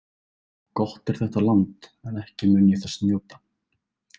Gott er þetta land en ekki mun ég þess njóta.